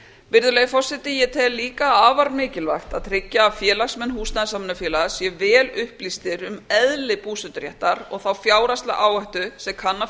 virðulegi forseti ég tel líka afar mikilvægt að tryggja að félagsmenn húsnæðissamvinnufélaga séu vel upplýstir um eðli búseturéttar og þá fjárhagslegu áhættu sem kann að